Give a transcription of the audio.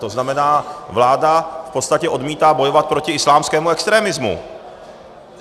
To znamená, vláda v podstatě odmítá bojovat proti islámskému extremismu.